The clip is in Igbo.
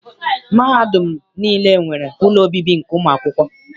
Mahadum niile nwere ụlọ obibi nke ụmụakwụkwọ.